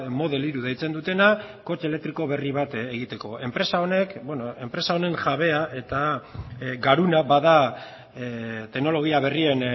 model hiru deitzen dutena kotxe elektriko berri bat egiteko enpresa honek enpresa honen jabea eta garuna bada teknologia berrien